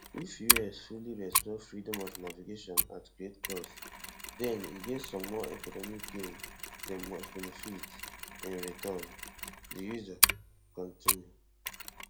if us successfully restore freedom of navigation at great cost den e get some more economic gain dem must benefit in return di user continue